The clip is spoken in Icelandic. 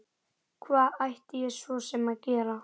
Hvað ætti ég svo sem að gera?